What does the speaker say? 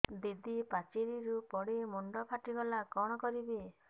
ଦିଦି ପାଚେରୀରୁ ପଡି ମୁଣ୍ଡ ଫାଟିଗଲା କଣ କରିବି